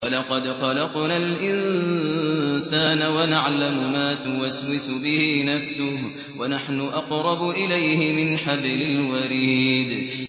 وَلَقَدْ خَلَقْنَا الْإِنسَانَ وَنَعْلَمُ مَا تُوَسْوِسُ بِهِ نَفْسُهُ ۖ وَنَحْنُ أَقْرَبُ إِلَيْهِ مِنْ حَبْلِ الْوَرِيدِ